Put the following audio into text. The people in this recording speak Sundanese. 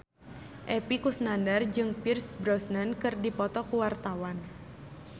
Epy Kusnandar jeung Pierce Brosnan keur dipoto ku wartawan